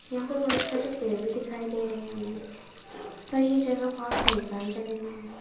यहां पर बहुत सारे पेड़ भी दिखाई दे रहे हैं हमें तो यह जगह बहुत सुनसान जगह में हैं।